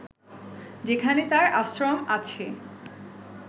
যেখানে তার আশ্রম আছে